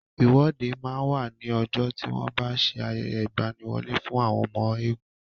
Ìwọ́de máa ń wà ní ọjọ́ tí wọ́n bá ń ṣe ayẹyẹ ìgbaniwọlé fún àwọn ọmọ eégún.